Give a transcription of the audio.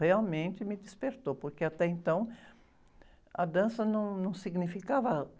Realmente me despertou, porque até então a dança não, não significava